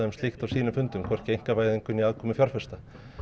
slíkt á sínum fundum hvorki einkavæðingu né aðkomu fjárfesta